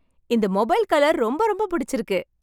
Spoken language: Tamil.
இந்த மொபைல் கலர் , ரொம்ப ரொம்ப பிடிச்சிருக்கு